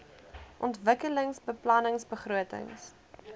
ontwikkelingsbeplanningbegrotings